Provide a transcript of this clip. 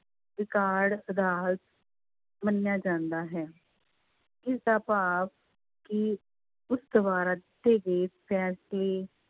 ਮੰਨਿਆ ਜਾਂਦਾ ਹੈ, ਇਸਦਾ ਭਾਵ ਕਿ ਉਸ ਦੁਆਰਾ ਦਿੱਤੇ ਗਏ ਫੈਸਲੇ